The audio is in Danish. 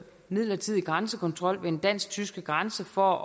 midlertidig grænsekontrol ved den dansk tyske grænse for